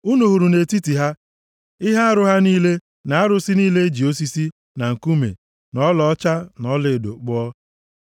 Unu hụrụ nʼetiti ha ihe arụ ha niile, na arụsị niile e ji osisi, na nkume na ọlaọcha, na ọlaedo kpụọ.